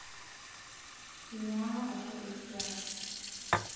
enyaaka aisho esiai